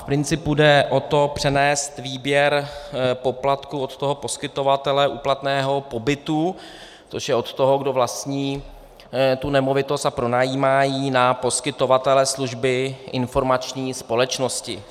V principu jde o to přenést výběr poplatku od toho poskytovatele úplatného pobytu, což je od toho, kdo vlastní tu nemovitost a pronajímá ji, na poskytovatele služby informační společnosti.